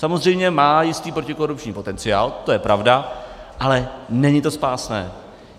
Samozřejmě má jistý protikorupční potenciál, to je pravda, ale není to spásné.